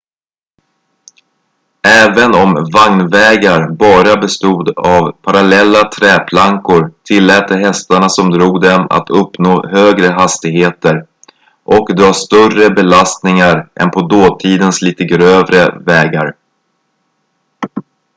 även om vagnvägar bara bestod av parallella träplankor tillät de hästarna som drog dem att uppnå högre hastigheter och dra större belastningar än på dåtidens lite grövre vägar